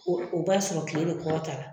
O b'a sɔrɔ tile bɛ kɔrɔtala